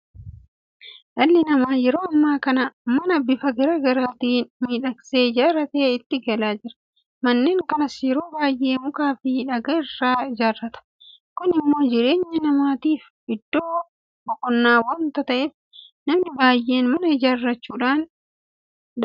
Dhalli namaa yeroo ammaa kana mana bifa garaa garaatiin miidhaksee ijaarratee itti galaa jira. Manneen kanas yeroo baay'ee mukaafi dhagaa irraa ijaarrata. Kun immoo jireenya namaatiif iddoo boqonnaa waanta ta'eef namni baay'een mana ijaarrachuudhaaf dhama'a.